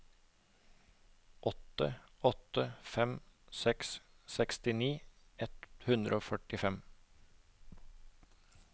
åtte åtte fem seks sekstini ett hundre og førtifem